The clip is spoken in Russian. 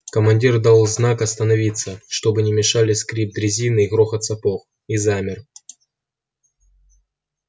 командир дал знак остановиться чтобы не мешали скрип дрезины и грохот сапог и замер